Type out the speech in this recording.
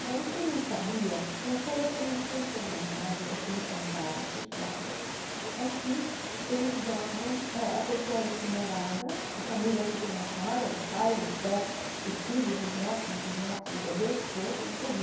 Agora, o que eu não sabia, e até hoje não sei se é verdade ou se me contaram essa história, é que eles jogam, é a pessoa é incinerada, a família fica lá fora, os pais, os ve os filhos, os netos, os bisnetos, os bebês, todos, isso eu vi.